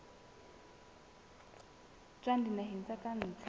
tswa dinaheng tsa ka ntle